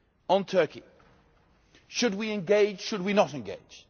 On Turkey, should we engage, should we not engage?